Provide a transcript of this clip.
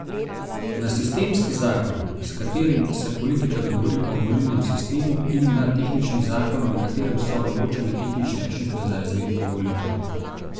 Na sistemski zakon, s katerim se politika dogovori o volilnem sistemu, in na tehnični zakon, v katerem so določene tehnične rešitve za izvedbo volitev.